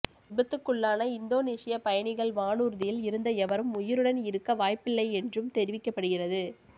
விபத்துக்குள்ளான இந்தோனேசிய பயணிகள் வானூர்தியில் இருந்த எவரும் உயிருடன் இருக்க வாய்ப்பில்லை என்றும் தெரிவிக்கப்படுகிறது